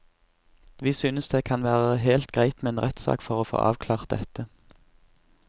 Vi syns det kan være helt greit med en rettssak for å få avklart dette.